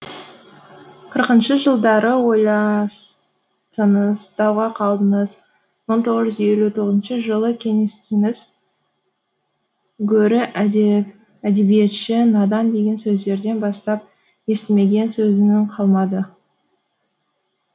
қырқыншы жылдары ойластыңыз дауға қалдыңыз мың тоғыз жүз елу тоғызыншы жылы кеңестіңіз гөрі әдебиетші надан деген сөздерден бастап естімеген сөзінің қалмады